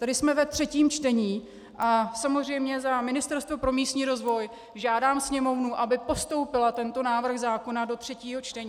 Tedy jsme ve třetím čtení a samozřejmě za Ministerstvo pro místní rozvoj žádám Sněmovnu, aby postoupila tento návrh zákona do třetího čtení.